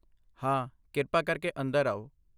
ਹਾਂ, ਕਿਰਪਾ ਕਰਕੇ ਅੰਦਰ ਆਓ।